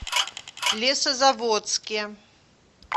лесозаводске